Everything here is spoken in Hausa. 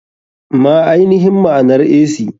Ma ainihin maanar ac?